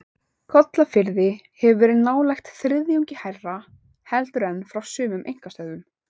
Kollafirði hefur verið nálægt þriðjungi hærra heldur en frá sumum einkastöðvum.